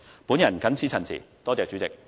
我謹此陳辭，多謝主席。